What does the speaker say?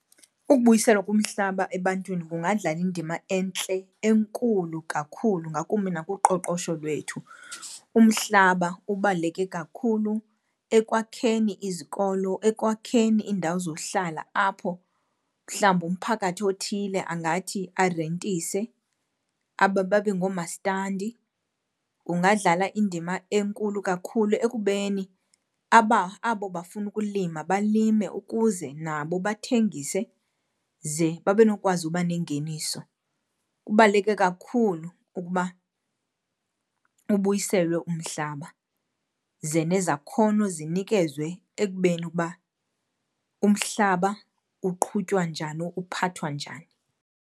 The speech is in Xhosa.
Ukubuyiselwa kumhlaba ebantwini kungadlala indima entle, enkulu kakhulu ngakumbi nakuqoqosho lwethu. Umhlaba ubaluleke kakhulu ekwakheni izikolo, ekwakheni iindawo zohlala apho mhlawumbi umphakathi othile angathi arentise, babe ngoomastandi. Ungadlala indima enkulu kakhulu ekubeni aba, abo bafuna ukulima balime ukuze nabo bathengise ze babe nokwazi ukuba nengeniso. Kubaluleke kakhulu ukuba ubuyiselwe umhlaba ze nezakhono zinikezwe ekubeni uba umhlaba uqhutywa njani, uphathwa njani.